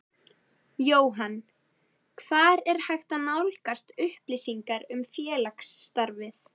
Jóhann: Hvar er hægt að nálgast upplýsingar um félagsstarfið?